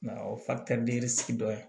Nka o sigi dɔ ye